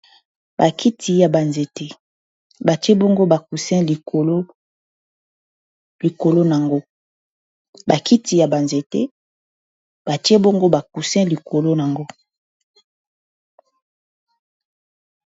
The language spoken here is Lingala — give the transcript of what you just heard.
bakiti ya ba nzete batie bongo ba coussin likolo likolo na ngo. Ba kiti ya ba nzete batie bongo ba coussin likolo na ngo